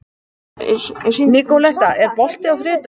Nikoletta, er bolti á þriðjudaginn?